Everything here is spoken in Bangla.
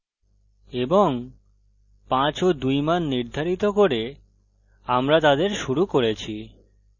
এবং 5 ও 2 মান নির্ধারিত করে আমরা তাদের শুরু করেছি